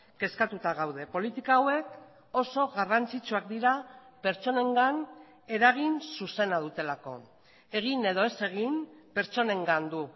kezkatuta gaude politika hauek oso garrantzitsuak dira pertsonengan eragin zuzena dutelako egin edo ez egin pertsonengan du